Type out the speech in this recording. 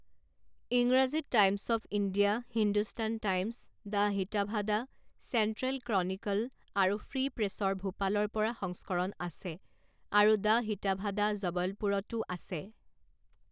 ইংৰাজীত Times of India, Hindustan Times, the Hitavada, Central Chronicle আৰু Free প্ৰেছৰ ভূপালৰ পৰা সংস্কৰণ আছে আৰু দ্য হিতাভাদা জবলপুৰতও আছে।